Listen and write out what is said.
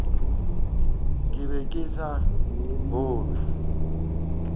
ke be ke sa kgolwe